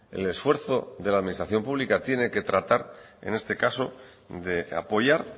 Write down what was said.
el esfuerzo de la administración pública tiene que tratar en este caso de apoyar